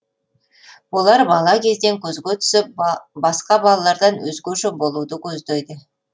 олар бала кезден көзге түсіп басқа балалардан өзгеше болуды көздейді